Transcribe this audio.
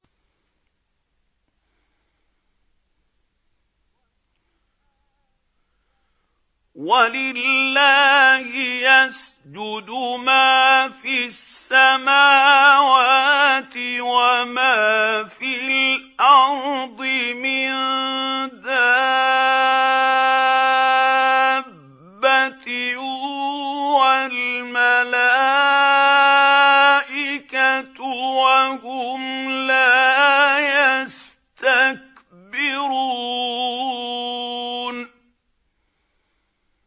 وَلِلَّهِ يَسْجُدُ مَا فِي السَّمَاوَاتِ وَمَا فِي الْأَرْضِ مِن دَابَّةٍ وَالْمَلَائِكَةُ وَهُمْ لَا يَسْتَكْبِرُونَ